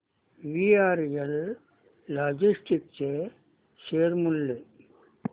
VRL logistics चे share मूल्य